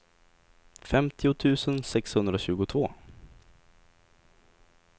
femtio tusen sexhundratjugotvå